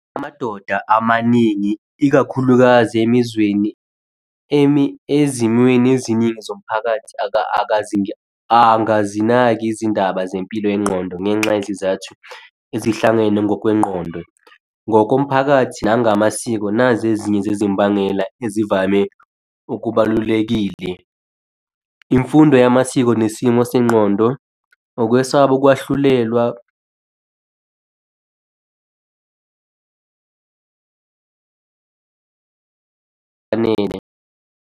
Amadoda amaningi ikakhulukazi emizweni ezimweni eziningi zomphakathi akazinaki izindaba zempilo yengqondo ngenxa yezizathu ezihlangene ngokwengqondo. Ngokomphakathi nangamasiko, nazi ezinye zezimbangela ezivame okubalulekile. Imfundo yamasiko nesimo sengqondo, ukwesaba ukwahlulelwa efanele.